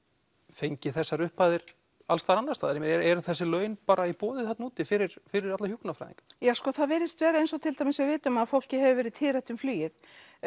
fengið þessar upphæðir alls staðar annars staðar ég meina eru þessi laun bara í boði þarna úti fyrir fyrir alla hjúkrunarfræðinga já það virðist vera eins og til dæmis við vitum að fólki hefur verið tíðrætt um flugið